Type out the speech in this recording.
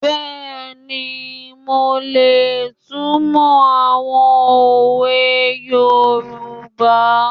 Bẹ́ẹ̀ni, mo lè túnmọ̀ àwọn òwe yoòbá